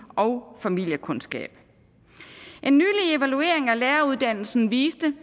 og familiekundskab en nylig evaluering af læreruddannelsen viste